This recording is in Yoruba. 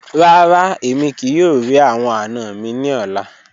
Rara, emi kii yoo ri awọn ana mi ni ọla